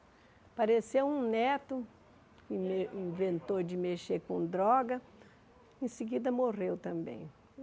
Apareceu um neto, in inventou de mexer com droga, em seguida morreu também.